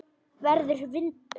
Verður vindur.